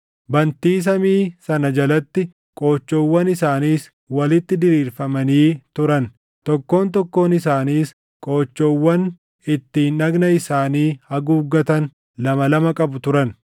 Bantii samii sana jalatti qoochoowwan isaaniis walitti diriirfamanii turan; tokkoon tokkoon isaaniis qoochoowwan ittiin dhagna isaanii haguuggatan lama lama qabu turan.